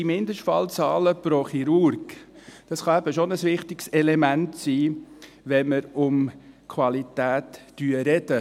Die Mindestfallzahlen pro Chirurgen, diese können schon ein wichtiges Element sein, wenn man von Qualität spricht.